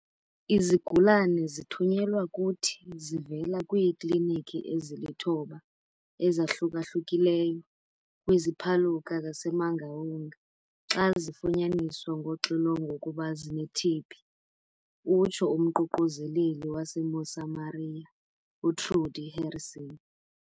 "Izigulana zithunyelwa kuthi zivela kwiiklinikhi ezilithoba ezahluka-hlukileyo kwiziPhaluka zaseMangaung xa zifunyaniswe ngoxilongo ukuba zine-TB," utsho umququzeleli waseMosamaria uTrudie Harrison.